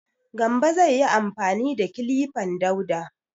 Gambo zai yi amfani da kilifan Dauda.